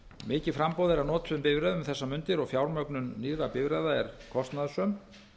mikið framboð er af notuðum bifreiðum um þessar mundir og fjármögnun nýrra bifreiða er kostnaðarsöm